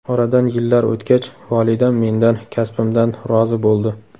Oradan yillar o‘tgach, volidam mendan, kasbimdan rozi bo‘ldi.